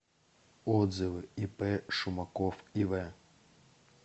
отзывы ип шумаков ив